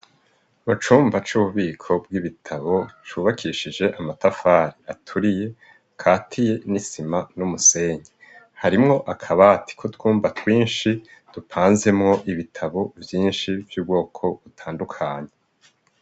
Mucumba c'ububiko bw'ibitabo cubakishije amatafari aturiye katiye n'isima n'umusenye harimwo akabati ko twumba twinshi dupanze mwo ibitabo vyinshi vy'ubwoko butandukanye.